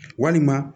Walima